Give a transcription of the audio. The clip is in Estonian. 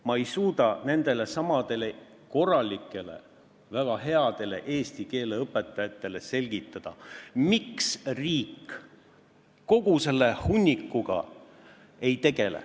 Ma ei suuda nendelesamadele korralikele, väga headele eesti keele õpetajatele selgitada, miks riik kogu selle hunnikuga ei tegele.